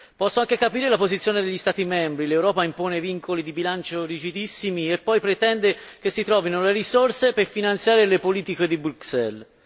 Posso anche capire la posizione degli Stati membri l'Europa impone vincoli di bilancio rigidissimi e poi pretende che si trovino le risorse per finanziare le politiche di Bruxelles.